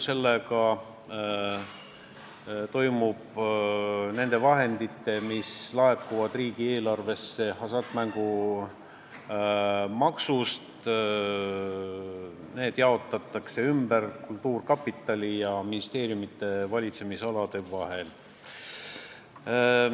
Selle kohaselt jaotatakse need vahendid, mis laekuvad riigieelarvesse hasartmängumaksust, ümber kultuurkapitali ja ministeeriumide valitsemisalade vahel.